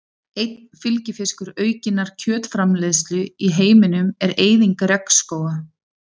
Einn fylgifiskur aukinnar kjötframleiðslu í heiminum er eyðing regnskóga.